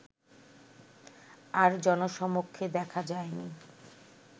আর জনসমক্ষে দেখা যায়নি